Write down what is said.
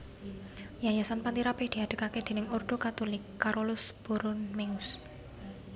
Yayasan Panti Rapih diadegaké déning Ordo Katulik Carolus Borromeus